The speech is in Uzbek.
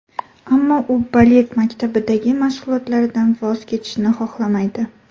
Ammo u balet maktabidagi mashg‘ulotlaridan voz kechishni xohlamaydi.